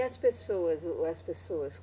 E as pessoas? O, as pessoas